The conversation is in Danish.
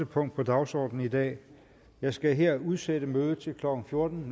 punkt på dagsordenen i dag jeg skal her udsætte mødet til klokken fjorten